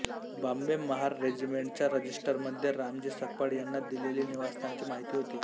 बॉम्बे महार रेजिमेंटच्या रजिस्टरमध्ये रामजी सकपाळ यांना दिलेल्या निवासस्थानाची माहिती होती